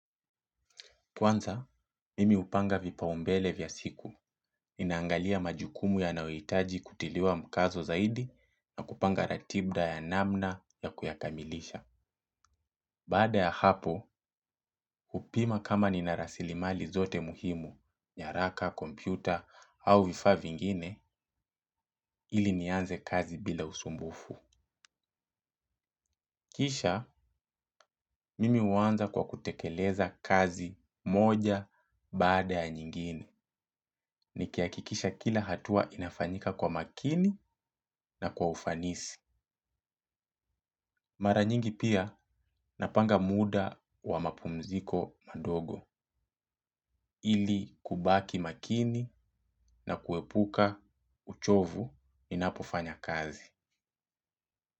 Kwanza, mimi hupanga vipaumbele vya siku. Ninaangalia majukumu yanayohitaji kutiliwa mkazo zaidi na kupanga ratiba ya namna ya kuyakamilisha. Baada ya hapo hupima kama nina rasilimali zote muhimu nyaraka kompyuta au vifaa vingine ili nianze kazi bila usumbufu. Kisha, mimi huanza kwa kutekeleza kazi moja baada ya nyingine. Nikihakikisha kila hatua inafanyika kwa makini na kwa ufanisi. Mara nyingi pia napanga muda wa mapumziko madogo. Ili kubaki makini na kuepuka uchovu ninapofanya kazi.